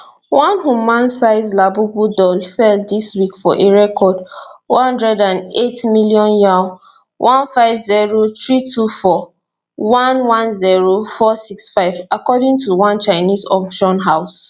one human sized labubu doll sell dis week for a record one hundred and eight million yuan one five zero three two four one one zero four six five according to one chinese auction house